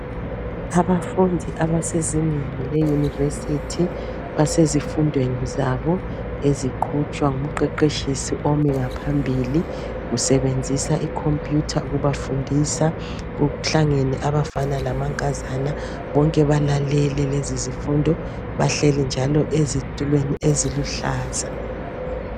Abafundi abasezingeni le yunivesithi basezifundweni zabo eziqhutshwa ngumqeqetshisi omi ngaphambili. Usebenzisa ikhomputha ukubafundisa. Kuhlangene abafana lamankazana bonke balalele lezo zifundo. Bahleli njalo ezitulweni eziluhlaza.